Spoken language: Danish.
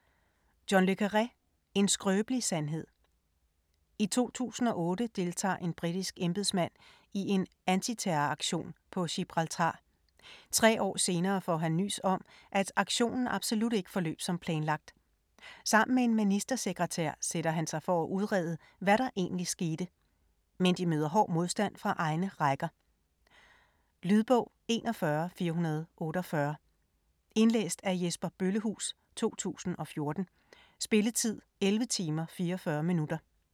Le Carré, John: En skrøbelig sandhed I 2008 deltager en britisk embedsmand i en antiterroraktion på Gibraltar. Tre år senere får han nys om, at aktionen absolut ikke forløb som planlagt. Sammen med en ministersekretær sætter han sig for at udrede, hvad der egentlig skete. Men de møder hård modstand fra egne rækker. Lydbog 41448 Indlæst af Jesper Bøllehuus, 2014. Spilletid: 11 timer, 44 minutter.